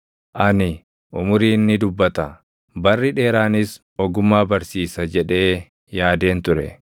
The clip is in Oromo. Ani, ‘Umuriin ni dubbata; barri dheeraanis ogummaa barsiisa’ jedhee yaadeen ture.